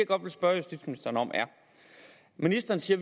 godt vil spørge justitsministeren om er ministeren siger